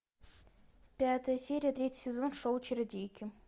пятая серия третий сезон шоу чародейки